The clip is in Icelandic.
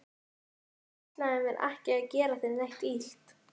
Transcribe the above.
Ég ætlaði mér ekki að gera þér neitt illt.